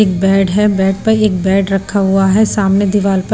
एक बेड है बेड पर एक बेड रखा हुआ है सामने दीवार पर--